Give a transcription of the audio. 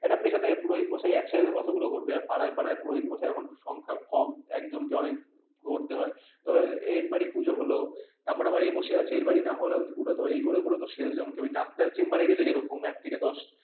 একটা পিছন থেকে পুরোহিত মশাই একসাথে কতগুলো করবে পাড়ায় পাড়ায় পুরোহিত মশাই এর সংখ্যা কম একজন কে অনেক করতে হয় তবে এর বাড়ির পুজো হলো তারপর আবার এ বসে আছে এর বাড়ি না করে করে তো শেষ জনকে ওই ডাক্তার চেম্বার রে গেলে যেরকম এক থেকে দশ,